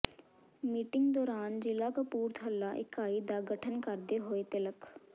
meeting ਦੌਰਾਨ ਜਿਲ੍ਹਾ ਕਪੂਰਥਲਾ ਇਕਾਈ ਦਾ ਗਠਨ ਕਰਦੇ ਹੋਏ ਤਿਲਕ